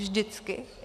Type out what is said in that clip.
Vždycky.